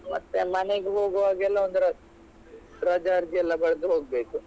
ಮತ್ತೆ ಮನೆಗೆ ಹೋಗುವಾಗೆಲ್ಲ ಒಂದ್ ರ~ ರಜಾರ್ಜಿ ಎಲ್ಲ ಬರ್ದು ಹೋಗ್ಬೇಕು.